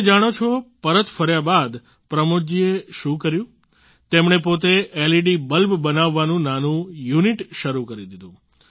તમે જાણો છો પરત ફર્યા બાદ પ્રમોદ જીએ શું કર્યું તેમણે પોતે એલઈડી બલ્બ બનાવવાનું નાનું યુનિટ શરૂ કરી દીધું